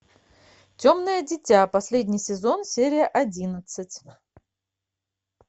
темное дитя последний сезон серия одиннадцать